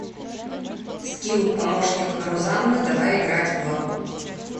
скилл помощник рузанны давай играть в